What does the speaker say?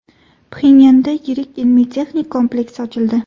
Pxenyanda yirik ilmiy-texnik kompleks ochildi.